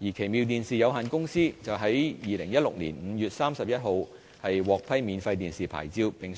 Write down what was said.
奇妙電視有限公司則於2016年5月31日獲批免費電視牌照，並